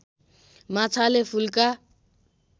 माछाले फुल्का